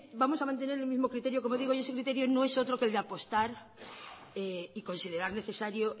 vamos a mantener el mismo criterio como digo y ese criterio no es otro que el de apostar y considerar necesario